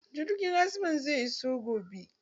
Jirgin azman zai iso gobe.